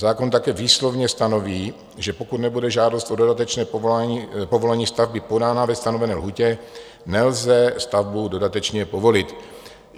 Zákon také výslovně stanoví, že pokud nebude žádost o dodatečné povolení stavby podána ve stanovené lhůtě, nelze stavbu dodatečně povolit.